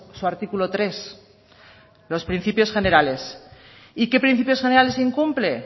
su artículo tres los principios generales y qué principios generales incumple